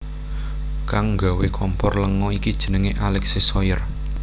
Kang nggawé kompor lenga iki jenengé Alexis Soyer